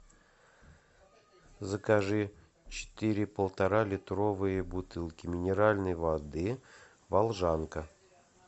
закажи четыре полтора литровые бутылки минеральной воды волжанка